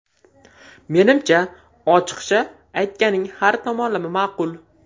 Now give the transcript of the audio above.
Menimcha, ochiqcha aytganing har tomonlama ma’qul’.